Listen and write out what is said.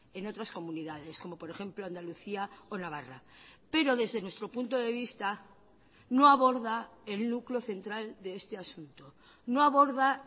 en otras comunidades como por ejemplo andalucía o navarra pero desde nuestro punto de vista no aborda el núcleo central de este asunto no aborda